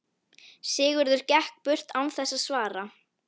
Sigurður gekk burt án þess að svara.